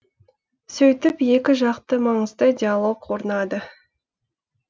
сөйтіп екі жақты маңызды диалог орнады